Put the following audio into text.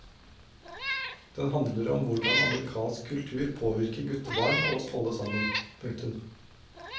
Den handler om hvordan amerikansk kultur påvirker guttebarn og oss alle sammen. punktum